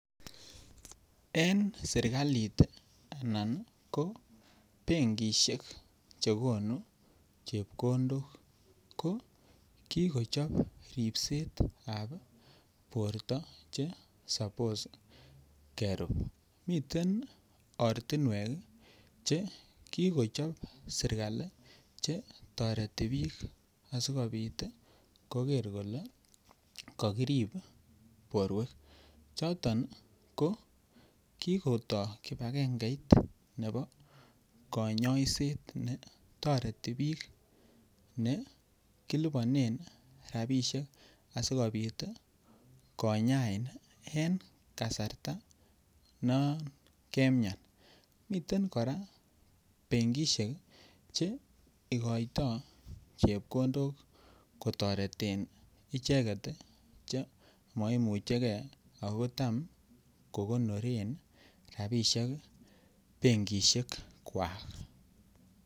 En serkalit ii anan ko benkishek che gonuu chepkondok ko kikochob ribsetab borto che sapos kerub. Miten ortinwek ii che kikochob serkali che toreti biik asikopit koger kole kokirip borwek. Choton ko kikotoo kibagengeit nebo konyoiset ne toreti biik be kiliponen rabishek asikopit ii konyain en kasarta non kemian. Miten koraa benkishek che igoito chepkondok ko toreten ichek che maimuche gee ako tam kogonoren rabishek benkishekwak